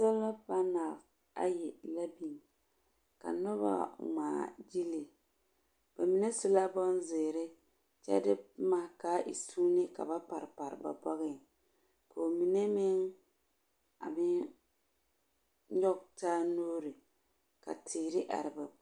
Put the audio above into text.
Soala panal ayi la biŋ ka noba ŋmaa gyili. Ba mine su la bonzeere kyɛ de boma ka e suuni ka ba pare pare ba bɔgeŋ. Ka aba mine meŋ a meŋ nyɔge taa nuuri ka teere are ba …